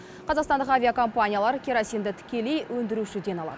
қазақстандық авиакомпаниялар керосинді тікелей өндірушіден алады